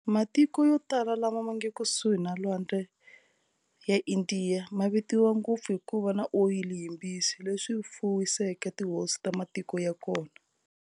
Matiko yotala lawa mange kusuhi na lwandle ya Indiya, mativiwa ngopfu hikuva na Oyili yimbisi, leswi fuwiseke tihosi ta matiko yakona.